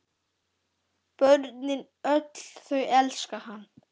Börnin öll þau elska hann.